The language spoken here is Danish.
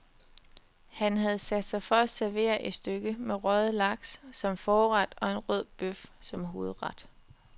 Han havde sat sig for at servere et stykke med røget laks som forret og en rød bøf som hovedret.